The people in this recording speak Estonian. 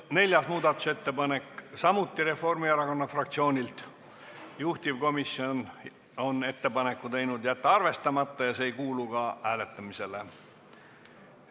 Neljas muudatusettepanek on samuti Reformierakonna fraktsioonilt, juhtivkomisjon on teinud ettepaneku jätta see arvestamata ja see ei kuulu ka hääletamisele.